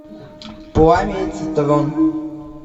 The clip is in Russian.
пламя и цитрон